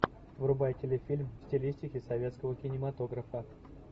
врубай телефильм в стилистике советского кинематографа